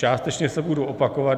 Částečně se budu opakovat.